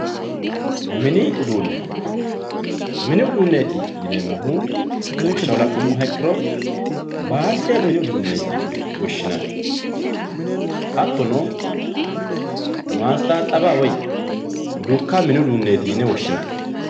mini uduune mini uduuneti yineemohu lawishshaho la'numoha ikkiro baalde mini uduuneeti yine woshshinanni hattono maastaaxawa woy dukka mini uduuneeti yine woshshinanni.